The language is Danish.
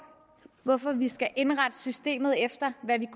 hvorfor vi skal indrette systemet efter hvad vi